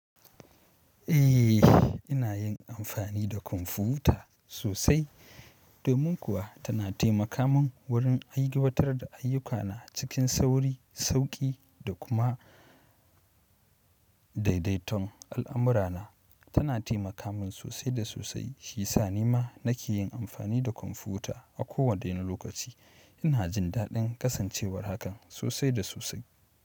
Eh, ina yin amfani da kwamfuta sosai domin kuwa tana taimaka min wurin ai gabatar da ayyukana cikin sauri, sauki da kuma daidaiton al'amura na. Tana taimaka min sosai da sosai shiyasa ni ma nake yin amfani da kwamfuta a kowane lokaci. Ina jin daɗin kasancewar hakan sosai da sosai.